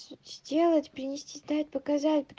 сделать принести дать показать